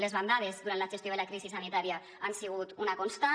les bandades durant la gestió de la crisi sanitària han segut una constant